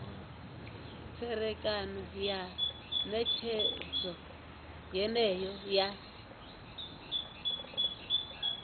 tserekano ya netshedzo yeneyo ya